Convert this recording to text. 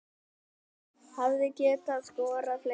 Hefði getað skorað fleiri